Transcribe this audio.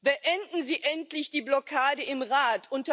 Beenden Sie endlich die Blockade im Rat!